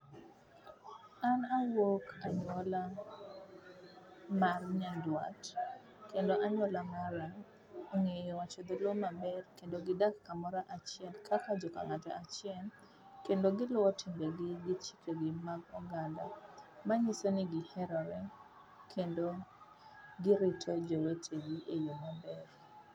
An awuok anyuola mar nyandwat kendo anyuola mara ongeyo wacho dholuo maber kendo gidak kumoro achiel kaka joka ng'ato achiel kendo giluwe timbe gi gi chike gi mag oganda, manyisoni giherore kendo girito jowetegi e yo maber